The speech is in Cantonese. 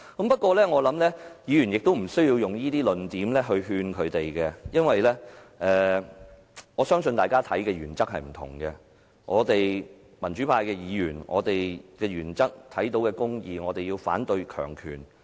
不過，我相信議員無需用這些論點來勸諭他們，因為我相信大家的原則不同，我們民主派議員的原則是要看到公義，反對強權。